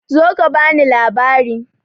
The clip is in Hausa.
Zo ka bani labari!